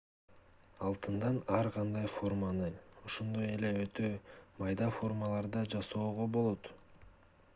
алтындан ар кандай форманы ошондой эле өтө майда формаларды да жасоого болот